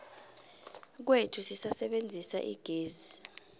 kwethu sisebenzisa igezi